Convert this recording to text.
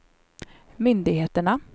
myndigheterna